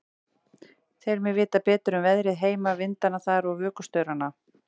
Tel mig vita betur um veðrið heima, vindana þar og vökustaurana.